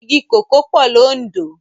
Igi kókòó pò ni Ondo